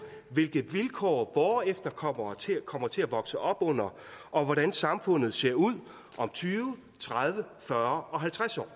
hvilke vilkår vore efterkommere kommer til at vokse op under og hvordan samfundet ser ud om tyve tredive fyrre og halvtreds år